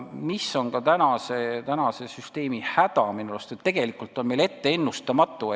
Minu arust on tänase süsteemi häda ka see, et tegelikult on see ennustamatu.